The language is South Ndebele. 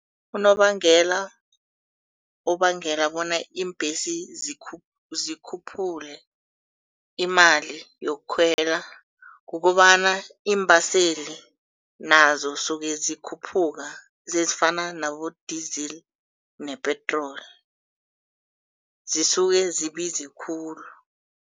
Unobangela ubangela bona iimbhesi zikhuphule imali yokukhwela kukobana iimbaseli nazo zisuka zikhuphuke ezifana nabo idizili nepietroli zisuke zibize khulu.